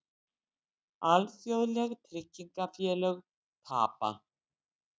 Alþjóðleg tryggingafélög tapa